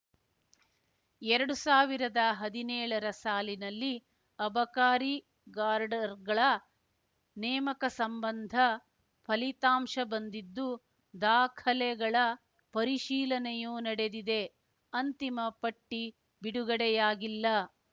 ಎರಡು ಸಾವಿರದ ಹದಿನೇಳರ ಸಾಲಿನಲ್ಲಿ ಅಬಕಾರಿ ಗಾರ್ಡ್‌ರ್ ಗಳ ನೇಮಕ ಸಂಬಂಧ ಫಲಿತಾಂಶ ಬಂದಿದ್ದು ದಾಖಲೆಗಳ ಪರಿಶೀಲನೆಯೂ ನಡೆದಿದೆ ಅಂತಿಮ ಪಟ್ಟಿಬಿಡುಗಡೆಯಾಗಿಲ್ಲ